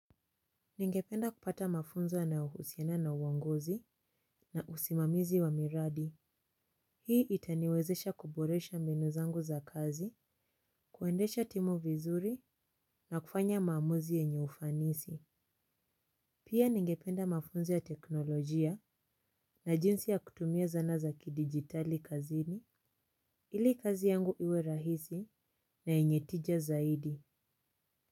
Ningependa kupata mafunzo yanayohusiana na uongozi na usimamizi wa miradi. Hii itaniwezesha kuboresha mbinu zangu za kazi. Kuendesha timu vizuri na kufanya maamuzi yenye ufanisi. Pia ningependa mafunzo ya teknolojia na jinsi ya kutumia zana za kidijitali kazini. Ili kazi yangu iwe rahisi na yenye tija zaidi.